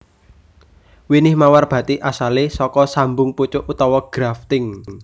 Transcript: Winih mawar bathik asalé saka sambung pucuk utawa grafting